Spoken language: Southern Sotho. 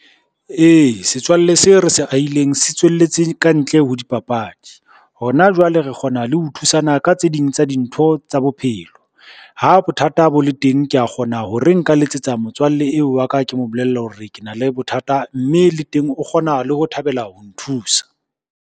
Ee, setswalle seo re se ahileng se tswelletse kantle ho dipapadi. Hona jwale re kgona le ho thusana ka tse ding tsa dintho tsa bophelo. Ha bothata bo le teng, kea kgona ho re nka letsetsa motswalle eo wa ka ke mo bolelle hore ke na le bothata, mme le teng o kgona le ho thabela ho nthusa.